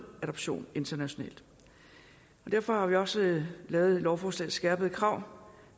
adoptionerne internationalt derfor har vi også lavet lovforslagets skærpede krav